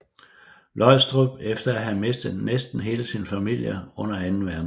Løgstrup efter at have mistet næsten hele sin familie under anden verdenskrig